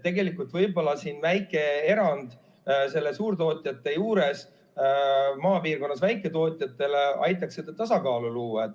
Tegelikult võib-olla väike erand suurtootjate juures aitaks maapiirkonna väiketootjatele seda tasakaalu luua.